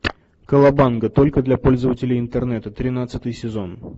колобанга только для пользователей интернета тринадцатый сезон